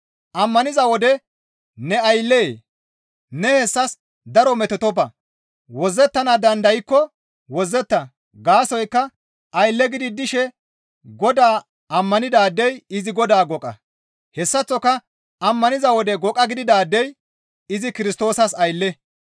Ammaniza wode ne ayllee? Ne hessas daro metotoppa; wozzettana dandaykko wozzeta; gaasoykka aylle gidi dishe Godaa ammanidaadey izi Godaa goqa; hessaththoka ammaniza wode goqa gididaadey izi Kirstoosas aylle.